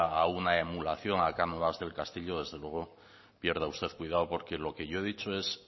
a una emulación a cánovas del castillo desde luego pierda usted cuidado porque lo que yo he dicho es